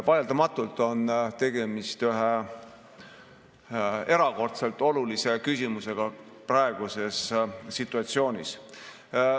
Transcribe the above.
Vaieldamatult on tegemist ühe erakordselt olulise küsimusega praeguses situatsioonis.